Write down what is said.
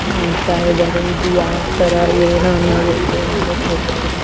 ನೋಡತಾಇದಾರೊ ಇದು ಯಾವ ತರ ಏನೋ ಅನ್ನೋದೆ .]